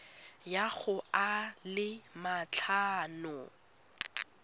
ya go a le matlhano